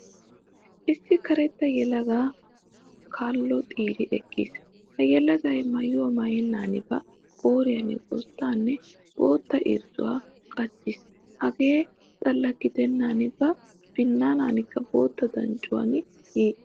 Issi kareetta yeelaga kaalloo xiire eqiis. Ha yeelagayi maayo maayenan ba qooriyaan goozidanne bootta irizzuwaa qaachchiis. Heega xaalla giideenan ba biinanakka bootta danccuwan yiiccis.